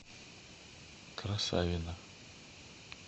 красавино